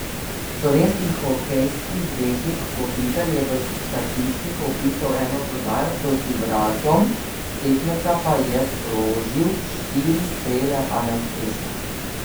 Slovenski hokejski zvezdnik Kopitar je v statistiko vpisal eno podajo, proti vratom tekmeca pa je sprožil štiri strele, a neuspešno.